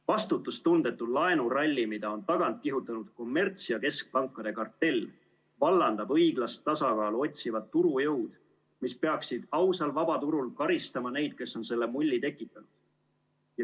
Vastutustundetu laenuralli, mida on tagant kihutanud kommerts- ja keskpankade kartell, vallandab õiglast tasakaalu otsivad turujõud, mis peaksid ausal vabaturul karistama neid, kes on selle mulli tekitanud.